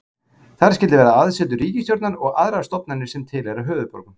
Þar skyldi vera aðsetur ríkisstjórnar og aðrar stofnanir sem tilheyra höfuðborgum.